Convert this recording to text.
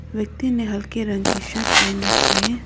व्यक्ति ने हल्के रंग की शर्ट पहन रखी है।